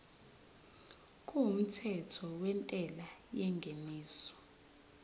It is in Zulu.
kumthetho wentela yengeniso